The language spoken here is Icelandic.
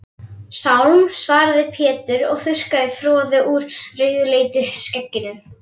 Sálm, svaraði Pétur og þurrkaði froðu úr rauðleitu skegginu.